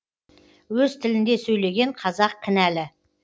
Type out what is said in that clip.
өз тілінде сөйлеген қазақ кінәлі